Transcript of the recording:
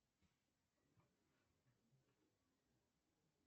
джой найди банк в этом районе